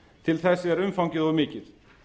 til þess er umfangið of mikið